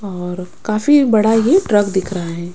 और काफी बड़ा ये ट्रक दिख रहा है।